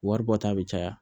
Waribɔta be caya